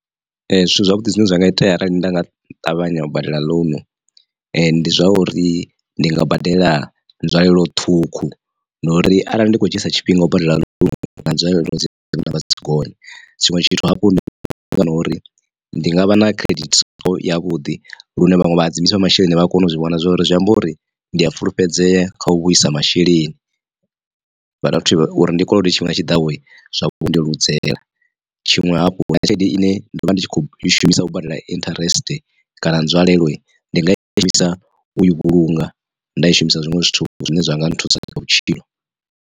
Zwithu zwavhuḓi zwine zwa nga itea arali nda nga ṱavhanya u badela ḽounu ndi zwauri ndi nga badela nzwalelo ṱhukhu ndi uri arali ndi kho dzhia tshifhinga u badela ḽounu na nzwalelo dzi vha dzi tshi gonya tshiṅwe tshithu hafhu ndi uri ndi nga vha na credit score yavhuḓi lune vhaṅwe vha hadzimiswa masheleni vha a kona u zwi vhona. Zwori zwi amba uri ndi a fulufhedzea kha u vhuisa masheleni vha dovha futhi uri ndi kolode tshifhinga tshiḓaho zwa ndeludzi tshiṅwe hafhu tshelede ine ndo vha ndi tshi kho i shumisa u badela interest kana nzwalelo ndi nga i shumisa u i vhulunga nda i shumisa zwiṅwe zwithu zwine zwa nga nthusa kha vhutshilo.